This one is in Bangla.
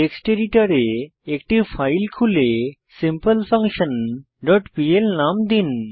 টেক্সট এডিটরে একটি ফাইল খুলে সিম্পলফাঙ্কশন ডট পিএল নাম দিন